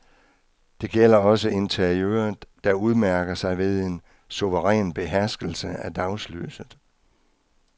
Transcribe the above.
Det gælder også interiøret, der udmærker sig ved en suveræn beherskelse af dagslyset.